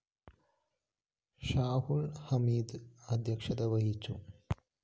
ഷാഹുല്‍ ഹമീദ് അധ്യക്ഷത വഹിച്ചു